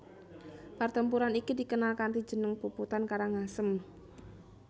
Pertempuran iki dikenal kanthi jeneng Puputan Karangasem